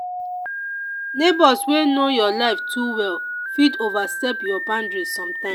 neighbors wey know your life too well fit overstep your boundary sometimes.